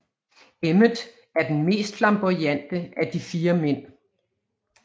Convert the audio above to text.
Emmet er den mest flamboyante af de fire mænd